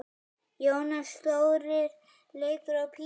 Jónas Þórir leikur á píanó.